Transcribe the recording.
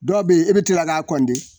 Dɔw be yen e bi kila k'a